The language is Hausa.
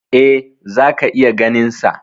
E, zaka iya ganinsa.